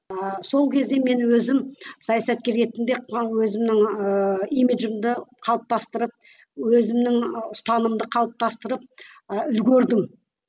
ыыы сол кезде мен өзім саясаткер ретінде өзімнің ііі имиджімді қалыптастырып өзімнің ұстанымымды қалыптастырып ы үлгердім